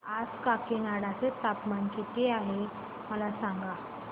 आज काकीनाडा चे तापमान किती आहे मला सांगा